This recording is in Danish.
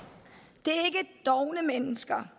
det er dovne mennesker